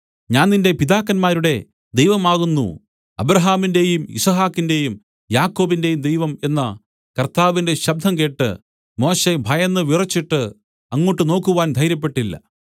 ഞാൻ നിന്റെ പിതാക്കന്മാരുടെ ദൈവമാകുന്നു അബ്രാഹാമിന്‍റെയും യിസ്ഹാക്കിന്റെയും യാക്കോബിന്റെയും ദൈവം എന്ന കർത്താവിന്റെ ശബ്ദം കേട്ട് മോശെ ഭയന്ന് വിറച്ചിട്ട് അങ്ങോട്ട് നോക്കുവാൻ ധൈര്യപ്പെട്ടില്ല